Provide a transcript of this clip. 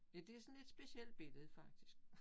Ja det sådan lidt specielt billede faktisk